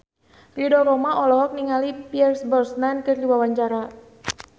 Ridho Roma olohok ningali Pierce Brosnan keur diwawancara